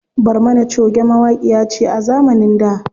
Barmana choge mawaƙiya ce a zamanin da.